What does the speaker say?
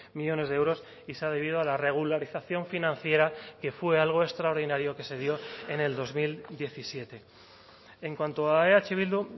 millónes de euros y se ha debido a la regularización financiera que fue algo extraordinario que se dio en el dos mil diecisiete en cuanto a eh bildu